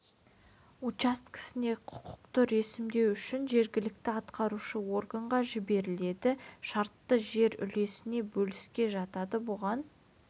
учаскесіне құқықты ресімдеу үшін жергілікті атқарушы органға жіберіледі шартты жер үлесіне бөліске жатады бұған